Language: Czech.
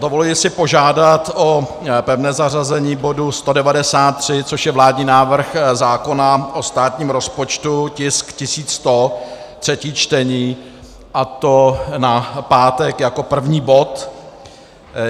Dovoluji si požádat o pevné zařazení bodu 193, což je vládní návrh zákona o státním rozpočtu, tisk 1100, třetí čtení, a to na pátek jako první bod.